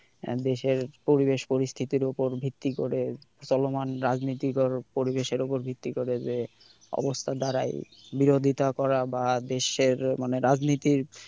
দেশের পরিবেশ পরিস্থিতির উপর ভিত্তি করে চলমান রাজনৈতিক পরিবেশের উপর ভিত্তি করে যে অবস্থা দাঁড়ায় তার বিরোধিতা করা বা দেশের মানে রাজনীতির,